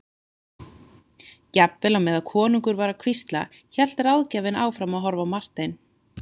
Jafnvel á meðan konungur var að hvísla hélt ráðgjafinn áfram að horfa á Martein.